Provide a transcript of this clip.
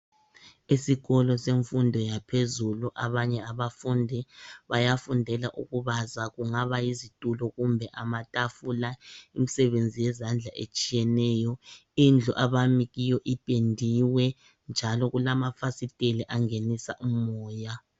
Esikolo semfundo yaphezulu abanye abafundi bayafundela ukubaza kungaba yizitulo kumbe amatafula imisebenzi yezandla etshiyeneyo .indlu abami kiyo ipendiwe njalo kulamafasiteli angenisa umoya .